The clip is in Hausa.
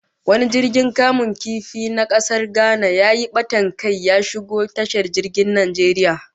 Wani jirgin kamun kifi na kasar Ghana yayi batan kai, ya shigo tashar jirgin ruwan Najeriya